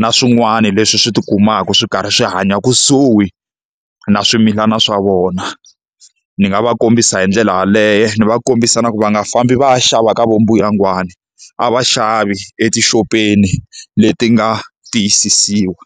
na swin'wana leswi swi tikumaka swi karhi swi hanya kusuhi na swimilana swa vona. Ni nga va kombisa hi ndlela yaleyo, ni va kombisa na ku va nga fambi va ya xava ka va mbuyangwani a va xavi etixopeni leti nga tiyisisiwa.